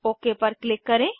okay पर click करें